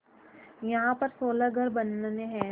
यहाँ पर सोलह घर बनने हैं